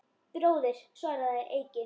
Bróðir, svaraði Eiki.